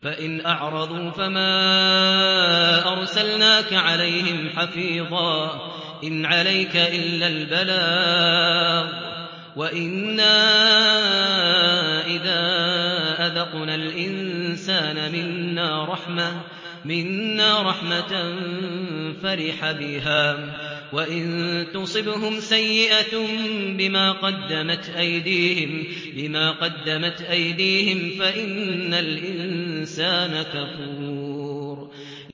فَإِنْ أَعْرَضُوا فَمَا أَرْسَلْنَاكَ عَلَيْهِمْ حَفِيظًا ۖ إِنْ عَلَيْكَ إِلَّا الْبَلَاغُ ۗ وَإِنَّا إِذَا أَذَقْنَا الْإِنسَانَ مِنَّا رَحْمَةً فَرِحَ بِهَا ۖ وَإِن تُصِبْهُمْ سَيِّئَةٌ بِمَا قَدَّمَتْ أَيْدِيهِمْ فَإِنَّ الْإِنسَانَ كَفُورٌ